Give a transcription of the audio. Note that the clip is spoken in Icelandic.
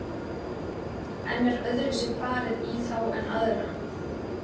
En er öðruvísi farið í þá en aðra?